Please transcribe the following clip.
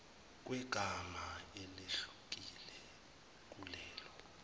kwegama elehlukile kulelo